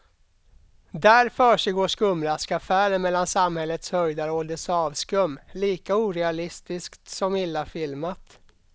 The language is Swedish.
Där försiggår skumraskaffärer mellan samhällets höjdare och dess avskum, lika orealistiskt som illa filmat.